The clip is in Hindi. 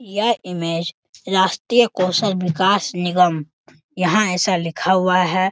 यह इमेज राष्‍ट्रीय कौशल विकास निगम यहाँ ऐसा लिखा हुआ है।